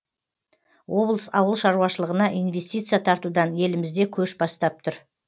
облыс ауыл шаруашылығына инвестиция тартудан елімізде көш бастап тұр